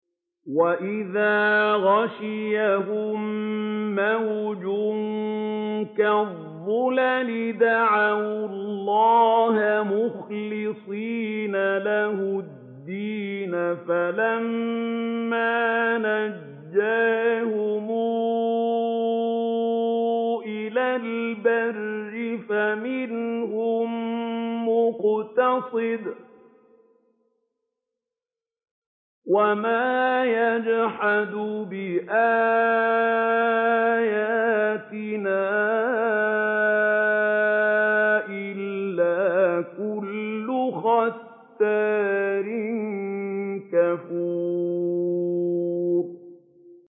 وَإِذَا غَشِيَهُم مَّوْجٌ كَالظُّلَلِ دَعَوُا اللَّهَ مُخْلِصِينَ لَهُ الدِّينَ فَلَمَّا نَجَّاهُمْ إِلَى الْبَرِّ فَمِنْهُم مُّقْتَصِدٌ ۚ وَمَا يَجْحَدُ بِآيَاتِنَا إِلَّا كُلُّ خَتَّارٍ كَفُورٍ